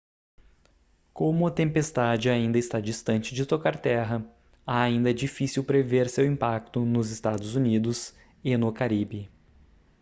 como a tempestade ainda está distante de tocar terra ainda é difícil prever seu impacto nos eua e no caribe